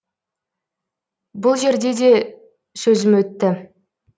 бұл жерде де сөзім өтті